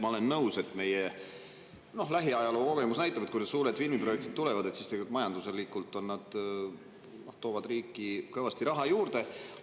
Ma olen nõus, et meie lähiajaloo kogemus näitab, et kui need suured filmiprojektid tulevad, siis majanduslikult toovad need riiki kõvasti raha juurde.